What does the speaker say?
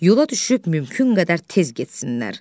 Yola düşüb mümkün qədər tez getsinlər.